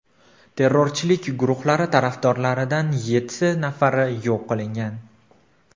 Terrorchilik guruhlari tarafdorlaridan yetti nafari yo‘q qilingan.